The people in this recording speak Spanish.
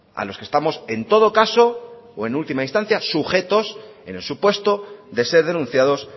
a los que estamos en todo caso o en última instancia sujetos en el supuesto de ser denunciados